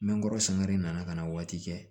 Nɛn kɔrɔ sangare nana ka na waati kɛ